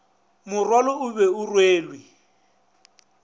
morwalo o be o rwelwe